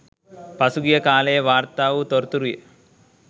පසුගිය කාලයේ වාර්තා වූ තොරතුරුය.